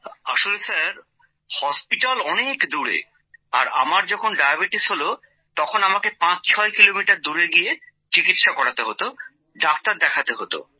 আসলে sir hospital অনেক দূরে আর আমার যখন ডায়াবেটিস হলো তখন আমাকে ৫৬ কিলোমিটার দূরে গিয়ে চিকিৎসা করাতে হতো ডাক্তার দেখাতে হতো